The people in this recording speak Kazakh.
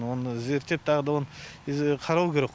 оны зерттеп тағы да оны қарау керек